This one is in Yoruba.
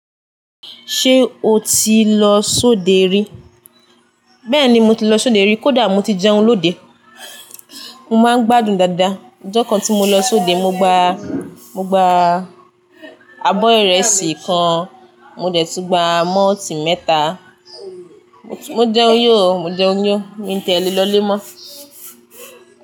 Ṣé o ti lọ sóde rí? Bẹ́ẹ̀ni mo ti lọ sóde rí. Kódà mo ti jẹun lóde. Mo máa ń gbádùn dáadáa. Ọjọ́ kan tí mo lọ sóde, mo gba, mo gba abọ́ ìrẹsì kan, mo dẹ̀ tún gba mọ́ọ́tì mẹ́ta. Mo jẹun yó, mo jẹun yó. Mi tẹ́lẹ̀ lọlé mọ́